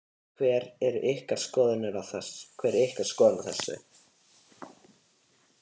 Hver er ykkar skoðun á þessu?